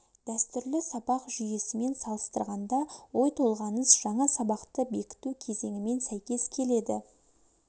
дәстүрлі сабақ жүйесімен салыстырғанда ой толғаныс жаңа сабақты бекіту кезеңімен сәйкес келеді